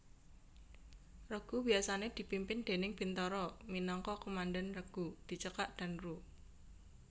Regu biasané dipimpin déning bintara minangka Komandan Regu dicekak Danru